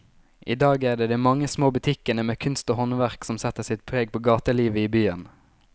I dag er det de mange små butikkene med kunst og håndverk som setter sitt preg på gatelivet i byen.